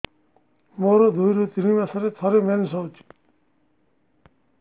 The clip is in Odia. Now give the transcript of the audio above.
ମୋର ଦୁଇରୁ ତିନି ମାସରେ ଥରେ ମେନ୍ସ ହଉଚି